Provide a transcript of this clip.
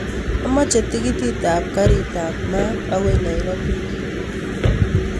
Amoche tikitit ap karit ap maat akoi nairobi